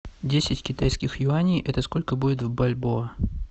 десять китайских юаней это сколько будет в бальбоа